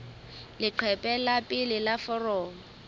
leqephe la pele la foromo